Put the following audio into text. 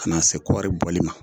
Ka na se kɔɔri bɔli ma